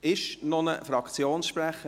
Gibt es noch einen Fraktionssprecher?